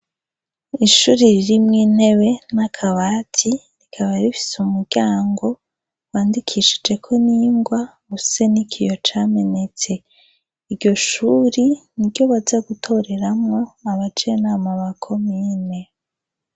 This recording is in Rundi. Ishuri ririmwe intewe n'akabati rikaba rifise mumuryango wandikishijeko n'ingwa use niki iyo camenetse iryo shuri ni ryo baza gutoreramwo abajenama bakomine.